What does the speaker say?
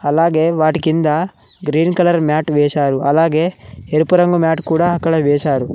అలాగే వాటి కింద గ్రీన్ కలర్ మ్యాట్ వేశారు అలాగే ఎరుపు రంగు మ్యాట్ కూడా అక్కడ వేశారు.